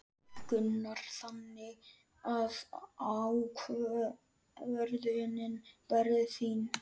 Gunnar: Þannig að ákvörðunin verður þín?